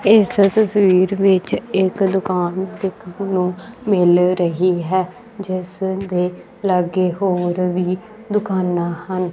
ਇਸ ਤਸਵੀਰ ਵਿੱਚ ਇਕ ਦੁਕਾਨ ਦੇਖਣ ਨੂੰ ਮਿਲ ਰਹੀ ਹੈ ਜਿਸ ਦੇ ਲਾਗੇ ਹੋਰ ਵੀ ਦੁਕਾਨਾਂ ਹਨ।